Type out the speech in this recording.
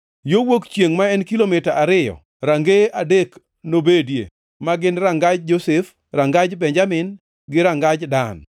Yo wuok chiengʼ, ma en kilomita ariyo, rangeye adek nobedie, ma gin: rangaj Josef, rangaj Benjamin gi rangaj Dan.